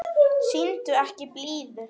Sýndu ekki blíðu.